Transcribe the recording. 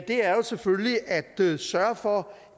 er jo selvfølgelig at sørge for